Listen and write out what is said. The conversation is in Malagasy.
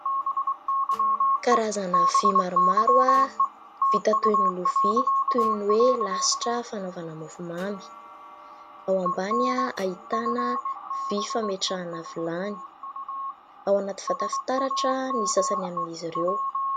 Karazana vy maromaro, vita toy ny lovia toy ny hoe lasitra fanaovana mofomamy, ao ambany ahitàna vy fametrahana vilany, ao anaty vata fitaratra ny sasany amin'izy ireo.